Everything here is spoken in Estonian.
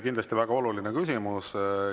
Kindlasti väga oluline küsimus.